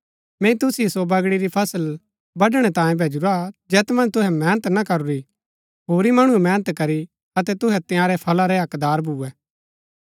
मैंई तुसिओ सो बगड़ी री फसल बडणै तांयें भैजुरा जैत मन्ज तुहै मेहनत ना करूरी होरी मणुऐ मेहनत करी अतै तुहै तंयारै फला रै हकदार भुऐ